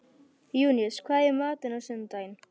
Júníus, hvað er í matinn á sunnudaginn?